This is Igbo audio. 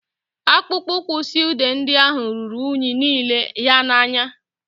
Akpụkpọ ụkwụ sụedị ndị ahụ ruru unyi n'ile ya anya